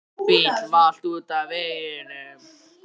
Bíll valt út af veginum.